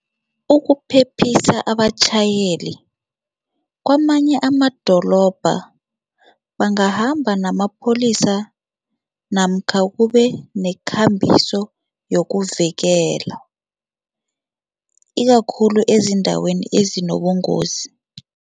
Ukuphephisa abatjhayeli, kwamanye amadolobha bangahamba namapholisa namkha kube nekhambiso yokuvikela, ikakhulu ezindaweni ezinobungozi.